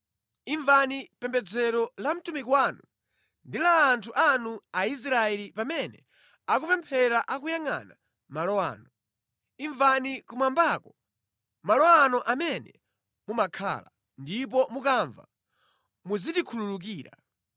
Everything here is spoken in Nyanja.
Imvani pembedzero la mtumiki wanu ndi la anthu anu Aisraeli pamene akupemphera akuyangʼana malo ano. Imvani kumwambako, malo anu amene mumakhala; ndipo mukamva muzitikhululukira.